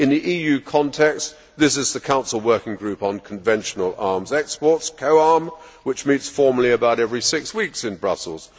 In the EU context, this is the Council working group on conventional arms exports COARM which meets formally about every six weeks in Brussels.